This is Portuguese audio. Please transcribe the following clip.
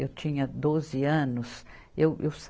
Eu tinha doze anos. Eu, eu sa